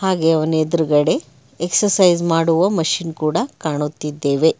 ಹಾಗೆ ಅವನ ಎದ್ರುಗಡೆ ಎಕ್ಸಸೈಜ್ ಮಾಡುವ ಮಷೀನ್ ಕೂಡ ಕಾಣುತ್ತಿದ್ದೇವೆ.